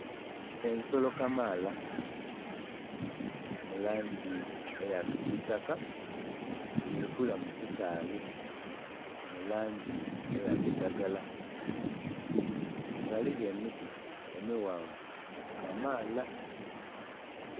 Ensolo kamaala mu langi eya kisitaka dhiri kulya mu kisaghe mu langi eya kiragala, ghaligho emiti emighanvu kamaala.